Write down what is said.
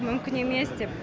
мүмкін емес деп